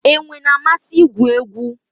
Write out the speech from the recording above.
Enwe na-amasị igwu egwu